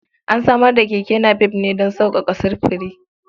An samar da keke napep ne don sauƙaƙa sufuri.